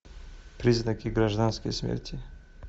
признаки гражданской смерти